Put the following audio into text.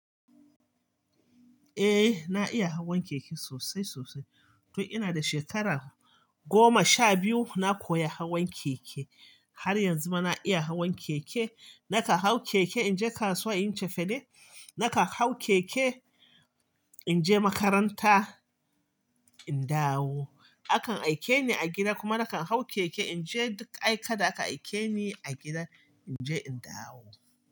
Eh na iya hawan keke sosai sosai. Tun ina da shekara goma sha biyu na koya hawan keke. Har yanzu ma na iya hawan keke. Nakan hau keke in je kasuwa in cefane, nakan hau keke in je makaranta in dawo. Akan aike ni a gida kuma nakan hau keke in je duk aika da aka aike ni a gida in je in dawo.